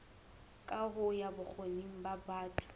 kaho ya bokgoni ba batho